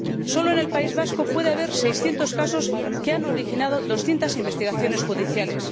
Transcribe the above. Solo en el País Vasco puede haber 600 casos que han originado 200 investigaciones judiciales.